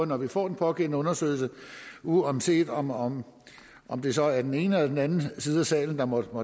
når vi får den pågældende undersøgelse uanset om om det så er den ene eller den anden side af salen der måtte